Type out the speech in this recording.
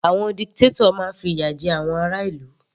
Àwọn dictator máa fi ìyà jẹ àwọn ará ìlú.